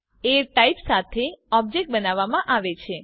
એ type સાથે object બનાવવામાં આવે છે